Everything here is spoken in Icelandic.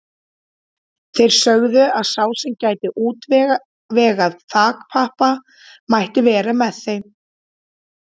Þeir sögðu að sá sem gæti útvegað þakpappa mætti vera með þeim.